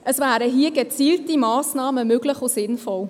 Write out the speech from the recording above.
Hier wären gezielte Massnahmen möglich und sinnvoll.